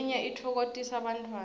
leminye itfoktisa bantfwana